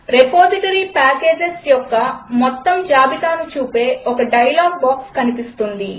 repository packages యొక్క మొత్తం జాబితాను చూపే ఒక డైలాగ్ బాక్స్ కనిపిస్తుంది